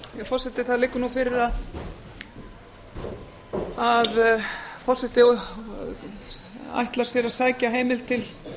forseti það liggur nú fyrir að forseti ætlar sér að sækja heimild til